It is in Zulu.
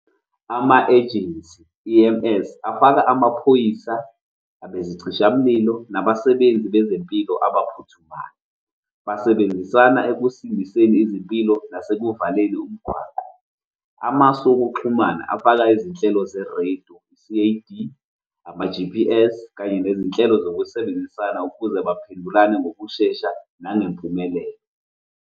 Ama-agency, i-E_M_S, afaka amaphoyisa abezicishamlilo, nabasebenzi bezempilo abaphuthumayo. Basebenzisana ekusindiseni izimpilo nasekuvaleni umgwaqo. Amasu okuxhumana afaka izinhlelo zerediyo, C_A_D, ama-G_P_S kanye nezinhlelo zokusebenzisana ukuze baphendulane ngokushesha nengempumelelo.